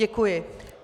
Děkuji.